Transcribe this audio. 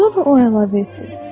Sonra o əlavə etdi.